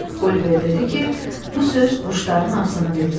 Oliver dedi ki, bu söz quşların ağzını bildirir.